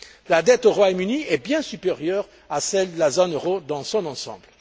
La dette du Royaume Uni est bien supérieure à celle de la zone euro dans son ensemble.